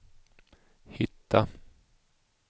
hitta